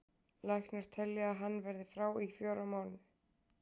Læknar telja að hann verði frá í fjóra mánuði.